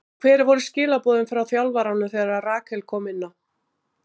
En hver voru skilaboðin frá þjálfaranum þegar Rakel kom inná?